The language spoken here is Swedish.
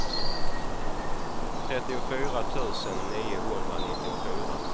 trettiofyra tusen niohundranittiofyra